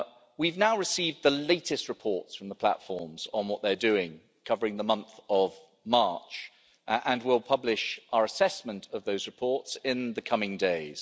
We have now received the latest reports from the platforms on what they're doing, covering the month of March and we'll publish our assessment of those reports in the coming days.